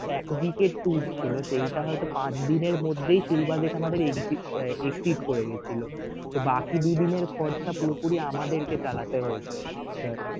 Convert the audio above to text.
exit এর tour ছিল সেইটা হয়ত পাঁচ দিনের মধ্যেই সেই budget আমাদের exe~exceed করে গেছিল so বাকি দুই দিনের খরচা পুরোপুরি আমাদেরকে চালাতে হয়েছে sir